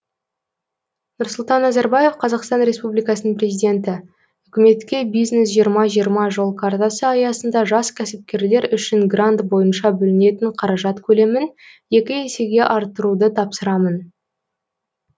нұрсұлтан назарбаев қазақстан республикасының президенті үкіметке бизнес жиырма жиырма жол картасы аясында жас кәсіпкерлер үшін грант бойынша бөлінетін қаражат көлемін екі есеге арттыруды тапсырамын